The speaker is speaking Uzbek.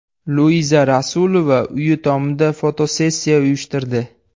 Luiza Rasulova uyi tomida fotosessiya uyushtirdi.